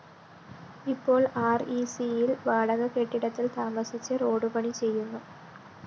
ഇപ്പോള്‍ ആര്‍ഇസിയില്‍ വാടക കെട്ടിടത്തില്‍ താമസിച്ച് റോഡ്പണി ചെയ്യുന്നു